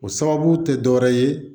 O sababu tɛ dɔwɛrɛ ye